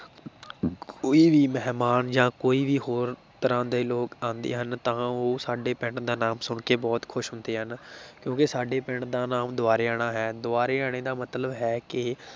ਕੋਈ ਵੀ ਮਹਿਮਾਨ ਜਾਂ ਕੋਈ ਵੀ ਹੋਰ ਤਰ੍ਹਾਂ ਦੇ ਲੋਕ ਆਉਂਦੇ ਹਨ ਤਾਂ ਉਹ ਸਾਡੇ ਪਿੰਡ ਦਾ ਨਾਮ ਸੁਣਕੇ ਬਹੁਤ ਖ਼ੁਸ਼ ਹੁੰਦੇ ਹਨ ਕਿਉਂਕਿ ਸਾਡੇ ਪਿੰਡ ਦਾ ਨਾਮ ਦੁਬਾਰੇਆਣਾ ਹੈ ਦੁਬਾਰੇਆਣੇ ਦਾ ਮਤਲਬ ਹੈ ਕਿ